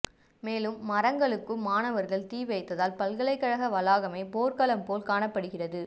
மேலும் மரங்களுக்கும் மாணவர்கள் தீவைத்ததால் பல்கலைக்கழக வளாகமே போர்க்களம் போல் காணப்படுகிறது